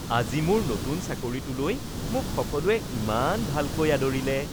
আজি মোৰ নতুন চাকৰিটোলৈ মোক সকলোৱে ইমান ভালকৈ আদৰিলে